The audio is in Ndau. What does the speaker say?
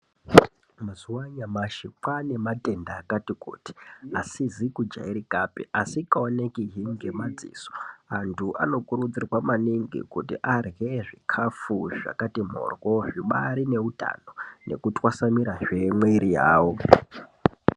Mazuva anyamashi kwane matenda akati kuti asizi kujairikapi asinga oneki ngema dziso antu ano kurudzirwa maningi kuti arye zvikafu zvakati mhoryo zvibairi ne utano ngeku twasanurahe mwiri yavo.